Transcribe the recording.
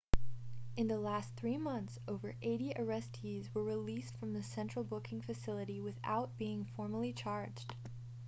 in the last 3 months over 80 arrestees were released from the central booking facility without being formally charged